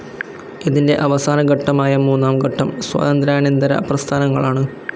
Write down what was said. ഇതിൻ്റെ അവസാന ഘട്ടമായ മൂന്നാം ഘട്ടം സ്വാതന്ത്ര്യാനന്തര പ്രസ്ഥാനങ്ങളാണ്.